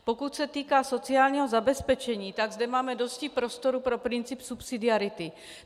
Pokud se týká sociálního zabezpečení, tak zde máme dosti prostoru pro princip subsidiarity.